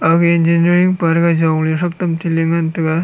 aga engineering pa jong le ngan tai ga.